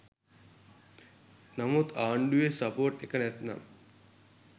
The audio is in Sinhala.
නමුත් ආණ්ඩුවෙ සපෝට් එක නැත්නම්